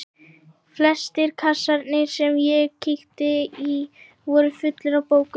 Flestir kassarnir sem ég kíkti í voru fullir af bókum.